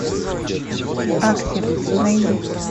аксель найди